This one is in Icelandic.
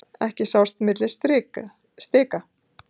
Ekki sást á milli stika.